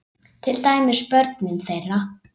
Til dæmis börnin þeirra.